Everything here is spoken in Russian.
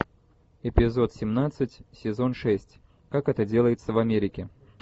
эпизод семнадцать сезон шесть как это делается в америке